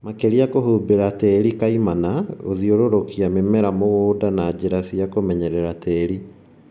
Makeria kũhumbĩra tĩri kaimana, gũthiũrũrũkia mĩmera mũgũnda na njĩra cia kũmenyerera tĩri